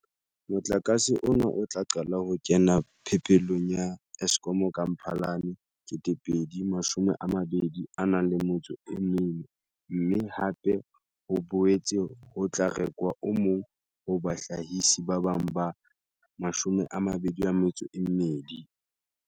Motlakase ona o tla qala ho kena phepelong ya ha Eskom ka Mphalane 2024, mme hape ho boetse ho tla rekwa o mong ho bahlahisi ba bang ba 22.